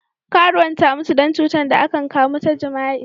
Karuwan ta mutu dan cutan da akan kamu ta jima'i.